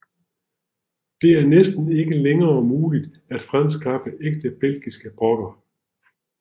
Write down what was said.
Det er næsten ikke længere muligt at fremskaffe ægte belgiske brokker